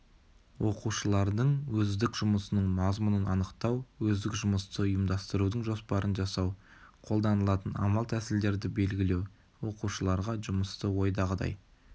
оқушылардың өздік жұмысының мазмұнын анықтау өздік жұмысты ұйымдастырудың жоспарын жасау қолданылатын амал-тәсілдерді белгілеу оқушыларға жұмысты ойдағыдай